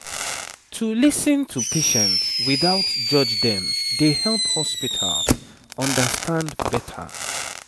to lis ten to patient without judge dem dey help hospital understand better